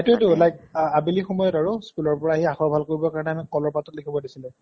সেটোয়েটো like আবেলি সময়ত স্কুলৰ পৰা আহি আখৰ ভাল কৰিবলৈ আমি কলৰ পাতত লিখিব দিছিলে